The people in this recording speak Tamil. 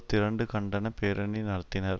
திரண்டு கண்டன பேரணி நடத்தினர்